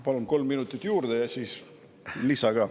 Palun kolm minutit juurde ja siis lisa ka.